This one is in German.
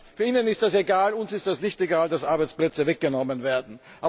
Ja, Ihnen ist das egal, uns ist das nicht egal, dass Arbeitsplätze weggenommen werden!